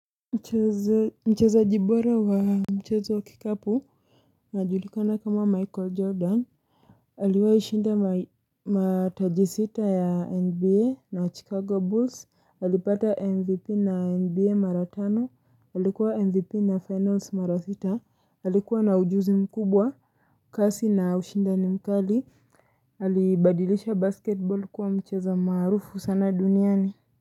Mchezaji bora wa mchezo wa kikapu majulikana kama michael jordan haliwa ushinda matajisita ya nba na chicago bulls hali pata mvp na nba maratano hali kuwa mvp na finance marathita hali kuwa na ujuzi mkubwa kasi na ushinda ni mkali aliibadilisha basketbol kuwa mchezo maarufu sana duniani.